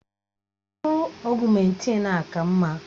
Mkpụrụ ọ̀guméntin a ka mma